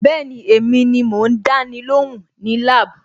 Bẹ́ẹ̀ni, èmi ni mò ń dáni lóhùn ní lab.